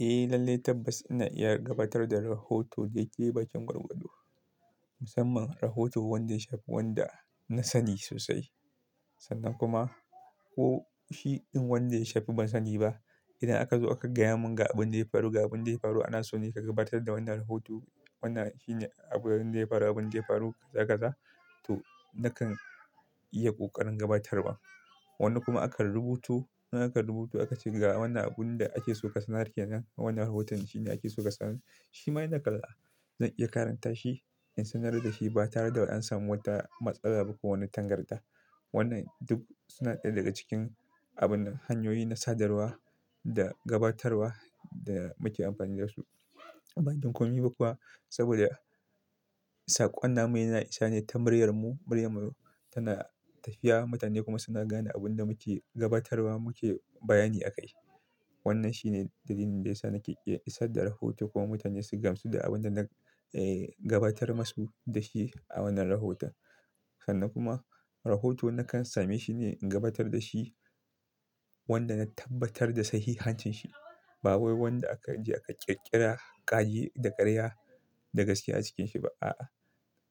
Eh, lallai tabbas ina iya gabatar da rahoto dai-dai bakin gwar-gwado. Musamman rahoton wanda ya shafi wanda na sani sosai sannan kuma ko shiɗin wanda ya shafi ban sani ba. Idan aka zo aka gaya mun ga abun da ya faru, ga abun da ya faru, ana so ne ka gabatar da wannan rahoto, wannan shine abun da ya faru, abun da ya faru, zakaga to na kan iya ƙoƙarin gabatarwa. Wani kuma akan rubuto, idan aka rubuto aka ce ga wannan abun da ake so ka sanar kenan wannan rahoton shine ake so ka sanar shima ina kalla zan iya karanta shi in sanar da shi ba tare da an samu wata matsala ba ko wani tangarɗa. Wannan duk suna ɗaya daga cikin abun nan hanyoyi na sadarwa da gabatarwa da muke amfani da su. Ban jin komi ba kuwa saboda saƙon namu ya na isa ne ta muryar mu. Muryar mu tana tafiya mutane kuma suna gane abin da muke gabatarwa muke bayani a kai. Wannan shine dalilin da ya sa nake iya isar da rahoto kuma mutane su gamsu da abin da na, eh gabatar masu da shi a wannan rahoton. Sannan kuma rahoto na kan same shi ne in gabatar da shi wanda na tabbatar da sahihancin shi. Ba wai wanda aka je aka ƙirƙira ƙage da ƙarya da gaskiya a cikin shi ba. A'a,